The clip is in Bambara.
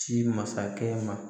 Ci masakɛ ma